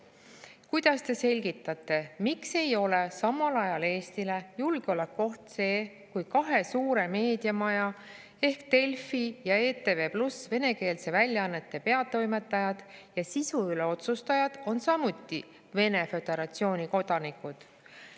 Kuidas te selgitate, miks ei ole samal ajal Eestile julgeolekuoht see, kui kahe suure meediamaja ehk Delfi ja ETV+ venekeelsete väljaannete peatoimetajad ja sisu üle otsustajad on samuti Vene Föderatsiooni kodanikud?